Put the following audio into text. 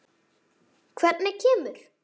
Hvernig kemur